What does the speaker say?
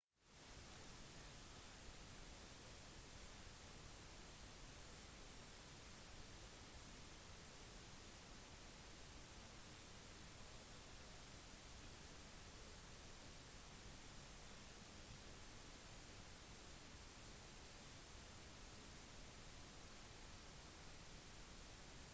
acma fant også ut at til tross for at videoen ble strømmet på internett hadde ikke big brother brutt sensurlovene på internett ettersom ingen media var lagret på hjemmesiden til big brother